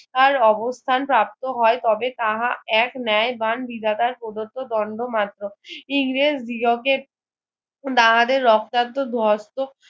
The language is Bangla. তার অবস্থান প্রাপ্ত হয় তবে তাহা এক ন্যায় বন্ বিধাতার প্রদত্ত্ব দ্বন্দ্ব মাত্র ইংরেজ বিয়োগকের তাহাদের রক্তাক্ত ধস্ত